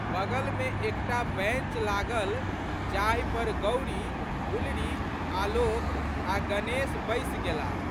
बगलमे एक टा बैंच लागल जाहि पर गौरी, गुलरी, आलोक आ' गणेश बैसि गेलाह।